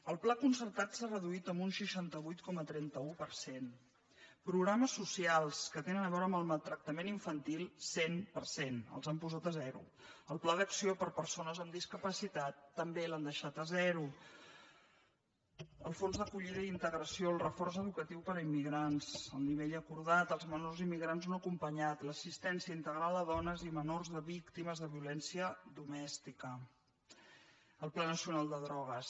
el pla con·certat s’ha reduït en un seixanta vuit coma trenta un per cent programes so·cials que tenen a veure amb el maltractament infan·til cent per cent els han posat a zero el pla d’acció per a persones amb discapacitat també l’han deixat a zero el fons d’acollida i integració el reforç educatiu per a immigrants el nivell acordat els menors immi·grants no acompanyats l’assistència integral a dones i menors víctimes de violència domèstica el pla nacio·nal de drogues